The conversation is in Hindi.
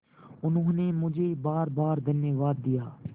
उन्होंने मुझे बारबार धन्यवाद दिया